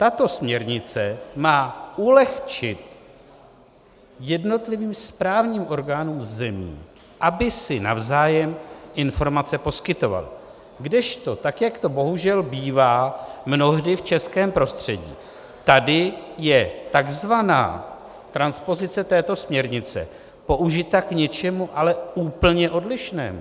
Tato směrnice má ulehčit jednotlivým správním orgánům zemí, aby si navzájem informace poskytovaly, kdežto, tak jak to bohužel bývá mnohdy v českém prostředí, tady je tzv. transpozice této směrnice použita k něčemu ale úplně odlišnému.